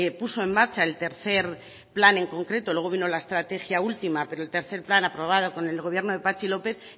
puso en marcha el tercero plan en concreto luego vino la estrategia última pero el tercero plan aprobado con el gobierno de patxi lópez